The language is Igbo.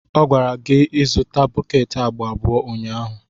Ọ gwara gị izụta bọket agba abụọ ụnyaahụ.